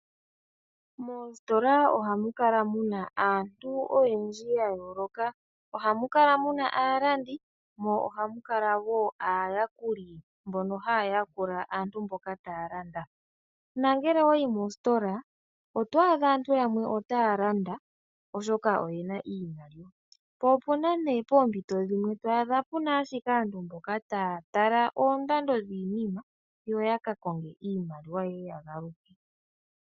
Moositola ohamu kala muna aantu oyendji ya yooloka. Ohamu kala muna aalandi mo ohamu kala wo aayakuli mboka ha ya yakula aantu mboka ta ya landa. Nongele owa yi mositola oto adha aantu yamwe otaya landa oshoka oyena iimaliwa po opuna nee poompito dhimwe puna aantu taya tala oondando dhiinima yo yaka konge iimaliwa ye ye ya galuke.